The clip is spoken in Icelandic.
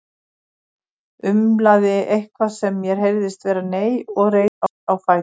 Umlaði eitthvað sem mér heyrðist vera nei og reis á fætur.